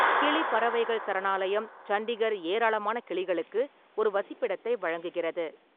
கிளி பறவைகள் சரணாலயம் சண்டிகர் ஏராளமான கிளிகளுக்கு ஒரு வசிப்பிடத்தை வழங்குகிறது.